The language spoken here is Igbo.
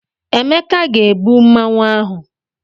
Emeka ga-ebu Mmanwu ahụ.